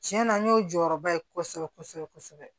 Tiɲɛ na n y'o jɔyɔrɔba ye kosɛbɛ kosɛbɛ